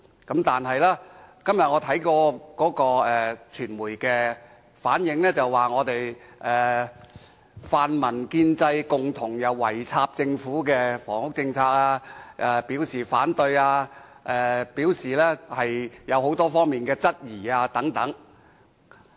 但是，我今天看到的傳媒報道，指泛民、建制圍攻政府的房屋政策，對政策表示反對及提出多方面質疑等。